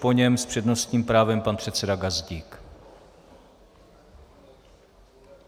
Po něm s přednostním právem pan předseda Gazdík.